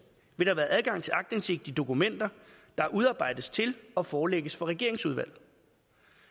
vil der være adgang til aktindsigt i dokumenter der udarbejdes til og forelægges for regeringsudvalg